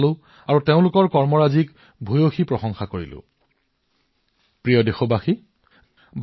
মৰমৰ দেশবাসীসকল জীৱনৰ প্ৰতিটো ক্ষেত্ৰত নতুনত্ব আধুনিকতা অনিবাৰ্য অন্যথা কেতিয়াবা ই আমাৰ বাবে বোজা হৈ পৰে